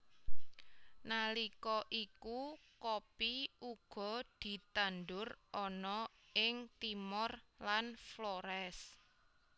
Nalika iku kopi uga ditandur ana ing Timor lan Flores